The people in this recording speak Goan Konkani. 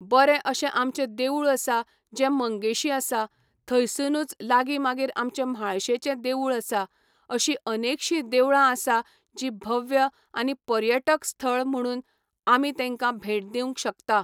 बरे अशें आमचें देवूळ आसा जे मंगेशी आसा थंयसुनूच लागीं मागीर आमचें म्हाळशेचें देवूळ आसा अशी अनेकशीं देवळां आसा जी भव्य आनी पर्यटक स्थळ म्हणून आमी तेंका भेट दिवं शकता